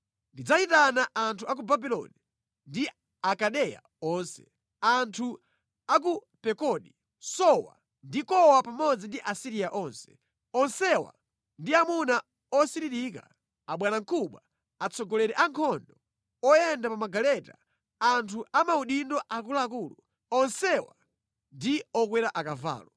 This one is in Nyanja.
Ndidzayitana anthu a ku Babuloni ndi Akaldeya onse, anthu a ku Pekodi, Sowa ndi Kowa pamodzi ndi Asiriya onse. Onsewa ndi amuna osiririka, abwanamkubwa, atsogoleri a ankhondo, oyenda pa magaleta, anthu a maudindo akuluakulu. Onsewa ndi okwera akavalo.